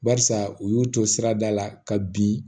Barisa u y'u to sirada la ka bin